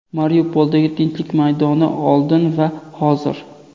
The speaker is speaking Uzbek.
Mariupoldagi Tinchlik maydoni oldin va hozir.